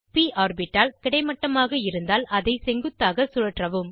ப் ஆர்பிட்டால் கிடைமட்டமாக இருந்தால் அதை செங்குத்தாக சுழற்றவும்